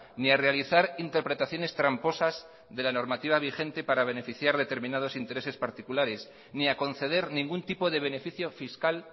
ni a realizar interpretaciones tramposas de la normativa vigente para beneficiar determinados intereses particulares ni a conceder ningún tipo de beneficio fiscal